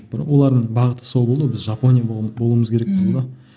бірақ олардың бағыты сол болды ғой біз жапония болуымыз керекпіз